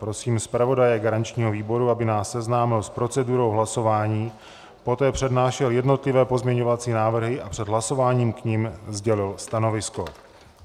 Prosím zpravodaje garančního výboru, aby nás seznámil s procedurou hlasování, poté přednášel jednotlivé pozměňovací návrhy a před hlasováním k nim sdělil stanovisko.